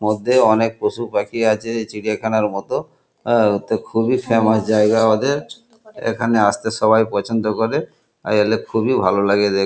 মধ্যে অনেক পশু পাখি আছে চিড়িখানার মতো উ খুবই ফেমাস জায়গা ওদের এখানে আস্তে সবাই পছন্দ করে আর এলে খুবই হলো লাগে দেখ --